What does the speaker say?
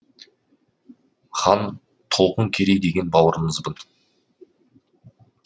хан толқын керей деген бауырыңызбын